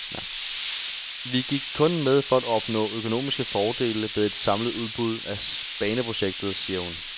Vi gik kun med for at opnå økonomiske fordele ved et samlet udbud af baneprojektet, siger hun.